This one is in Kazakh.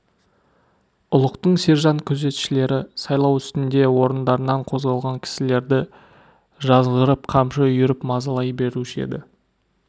ұлықтың сержант күзетшілері сайлау үстінде орындарынан қозғалған кісілерді жазғырып қамшы үйіріп мазалай беруші еді